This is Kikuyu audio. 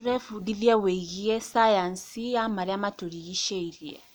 Tũrebundithia wĩgiĩ cayanci ya marĩa matũrigicĩirie.